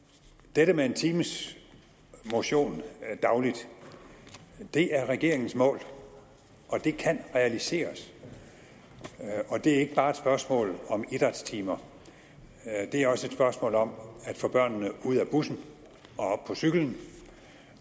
dette med en times motion dagligt er regeringens mål og det kan realiseres det er ikke bare et spørgsmål om idrætstimer det er også et spørgsmål om at få børnene ud af bussen og op på cyklen